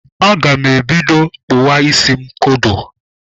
Aga m ebido kpụwa isi kodo.